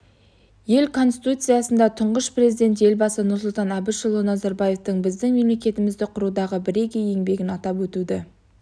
ел конституциясында тұңғыш президент елбасы нұрсұлтан әбішұлы назарбаевтың біздің мемлекетімізді құрудағы бірегей еңбегін атап өтуді